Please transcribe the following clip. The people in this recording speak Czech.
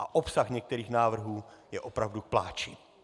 A obsah některých návrhů je opravdu k pláči.